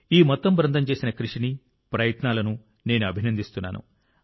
ఈ మొత్తం బృందం చేసిన కృషిని ప్రయత్నాలను నేను అభినందిస్తున్నాను